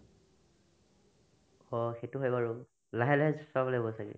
অ, সেটো হয় বাৰু লাহে লাহে চ চলাব লাগিব ছাগে